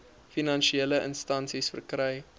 finansiële instansies verkry